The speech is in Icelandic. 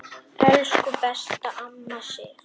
Elsku besta amma Sif.